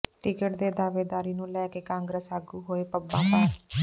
ticket ਦੀ ਦਾਅਵੇਦਾਰੀ ਨੂੰ ਲੈ ਕੇ ਕਾਂਗਰਸ ਆਗੂ ਹੋਏ ਪੰਬਾਂ ਭਾਰ